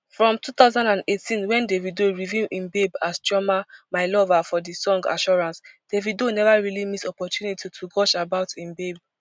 from two thousand and eighteen wen davido reveal im babe as chioma my lover for di song assurance davido neva really miss opportunity to gush about im babe